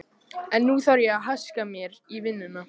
En nú þarf ég að haska mér í vinnuna.